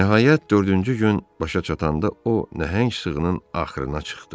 Nəhayət dördüncü gün başa çatanda o nəhəng sığının axrına çıxdı.